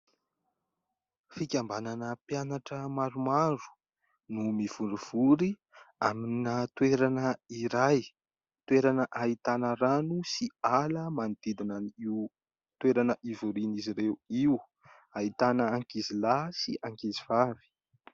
Fikambanana mpianatra maromaro no mivorivory amina toerana iray toerana, ahitana rano sy ala manodidina io toerana hivorian'izy ireo io. Ahitana ankizy lahy sy ankizy vavy.